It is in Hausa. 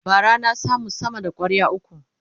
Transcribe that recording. bara na samu sama da kwarya ukwu